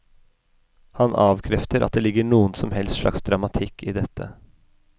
Han avkrefter at det ligger noen som helst slags dramatikk i dette.